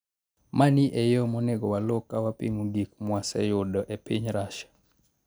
"Mani e yo monego waluw ka wapimo gik mwaseyudo e piny Russia.